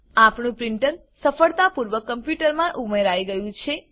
આપણું પ્રીંટર સફળતાપૂર્વક કમ્પ્યુટરમાં ઉમેરાઈ ગયું છે